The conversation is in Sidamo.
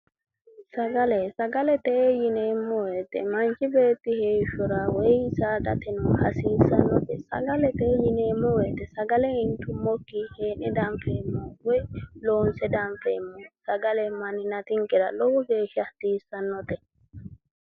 Sagale:-sagalete yineemmo woyite manchi beetti heeshshora woyi saadateno hasiissannote sagalete yineemmo woyite sagale intumokkinni heera didandiineemmo woyi loonse danfeemmo sagale manninatinkera lowo geeshsha hasiissannote